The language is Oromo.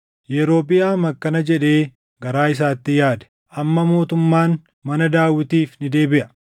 Yerobiʼaam akkana jedhee garaa isaatti yaade; “Amma mootummaan mana Daawitiif ni deebiʼa.